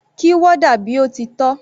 Kí warder bí ó ti tọ́.